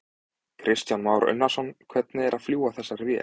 Kristján Már Unnarsson: Hvernig er að fljúga þessari vél?